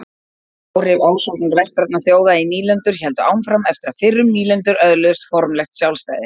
Áhrif ásóknar vestrænna þjóða í nýlendur héldu áfram eftir að fyrrum nýlendur öðluðust formlegt sjálfstæði.